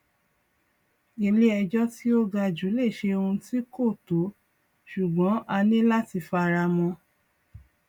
ilé ejò tí ó ga jù lè ṣe òun tí kò tó ṣùgbọn a ní láti fara mọ